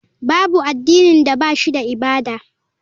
Babu addinin da ba shi da ibada.